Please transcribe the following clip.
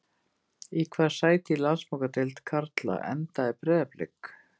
Í hvaða sæti í Landsbankadeild karla endaði Breiðablik?